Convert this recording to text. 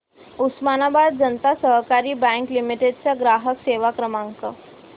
उस्मानाबाद जनता सहकारी bank limited चा ग्राहक सेवा क्रमांक